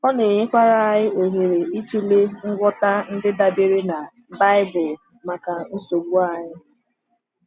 Ọ na-enyekwara anyị ohere ịtụle ngwọta ndị dabere na Baịbụl maka nsogbu anyị.